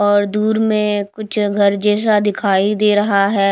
और दूर में कुछ घर जैसा दिखाई दे रहा है।